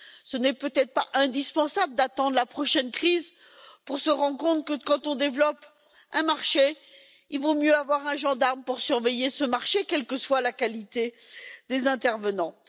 Il n'est peut être pas indispensable d'attendre la prochaine crise pour se rendre compte que, quand on développe un marché, il vaut mieux avoir un gendarme pour surveiller ce marché, quelle que soit la qualité des intervenants.